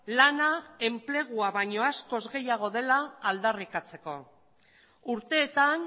lana enplegua baino askoz gehiago dela aldarrikatzeko urteetan